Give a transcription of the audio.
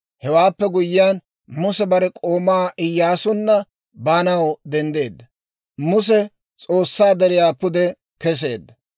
Hewaappe guyyiyaan Muse bare k'oomaa Iyyaasunna baanaw denddeedda; Muse S'oossaa deriyaa pude keseedda.